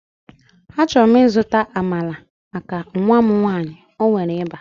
Achọrọ m ịzụta Amalar maka nwa m nwanyị, o nwere ịba